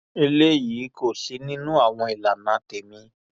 eléyìí kò sí nínú àwọn ìlànà tẹmí